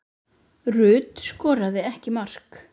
Rut skoraði ekki mark.